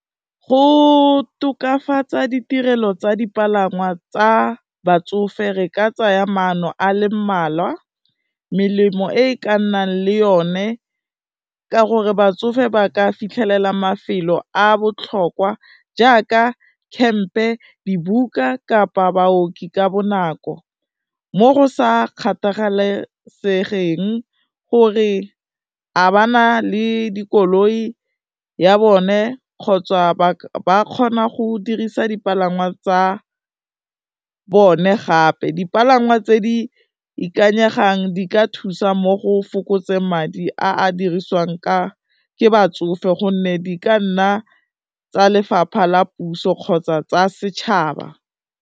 Go tokafatsa ditirelo tsa dipalangwa tsa batsofe re ka tsaya maano a le mmalwa, melemo e e ka nnang le yone, ka gore batsofe ba ka fitlhelela mafelo a botlhokwa jaaka camp-e, dibuka kapa baoki ka bonako, mo go sa kgathalesegeng gore a ba na le dikoloi ya bone kgotsa ba kgona go dirisa dipalangwa tsa bone gape. Dipalangwa tse di ikanyegang di ka thusa mo go fokotseng madi a a dirisiwang ke batsofe gonne di ka nna tsa lefapha la puso kgotsa tsa setšhaba.